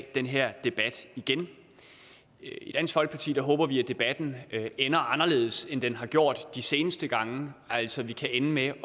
den her debat igen i dansk folkeparti håber vi at debatten ender anderledes end den har gjort de seneste gange altså at vi kan ende med